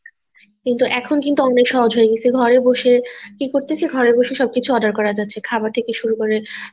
কিন্তু এখন কিন্তু আমরা সহজ হয়ে গেছে ঘরে বসে কি করতেছি ঘরে বসে সব কিছু order করা যাচ্ছে খাবার থেকে শুরু করে